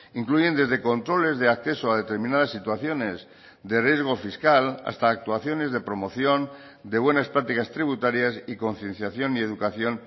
incluyen desde controles de acceso a determinadas situaciones de riesgo fiscal hasta actuaciones de promoción de buenas prácticas tributarias y concienciación y educación